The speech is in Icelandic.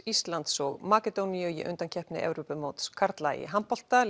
Íslands og Makedóníu í undankeppni Evrópumóts karla í handbolta